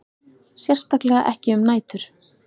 Sérstaklega ekki um nætur.